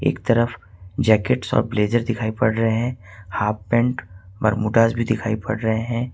एक तरफ jacket shop blazer दिखाई पड़ रहे हैं हाफ पेंट और मोटर्स भी दिखाई पड़ रहे हैं।